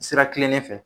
Sira kilenlen fɛ